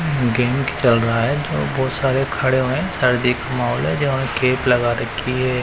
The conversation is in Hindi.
गेम चल रहा है और बहोत सारे खड़े हैं सर्दी का माहौल है जो गेट लगा रखी है।